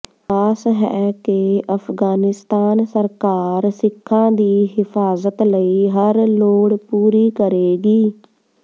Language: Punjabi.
ਆਸ ਹੈ ਕਿ ਅਫਗਾਨਿਸਤਾਨ ਸਰਕਾਰ ਸਿੱਖਾਂ ਦੀ ਹਿਫਾਜ਼ਤ ਲਈ ਹਰ ਲੋੜ ਪੂਰੀ ਕਰੇਗੀ